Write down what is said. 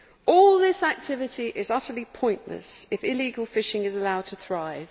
All this activity is utterly pointless if illegal fishing is allowed to thrive.